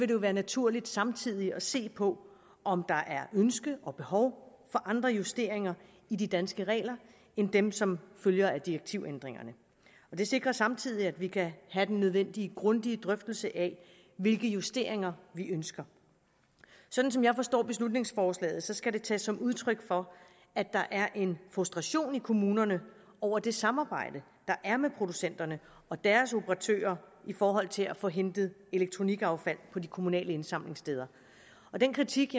det være naturligt samtidig at se på om der er ønske om og behov for andre justeringer i de danske regler end dem som følger af direktivændringerne det sikrer samtidig at vi kan have den nødvendige grundige drøftelse af hvilke justeringer vi ønsker sådan som jeg forstår beslutningsforslaget skal det tages som udtryk for at der er en frustration i kommunerne over det samarbejde der er med producenterne og deres operatører i forhold til at få hentet elektronikaffald på de kommunale indsamlingssteder den kritik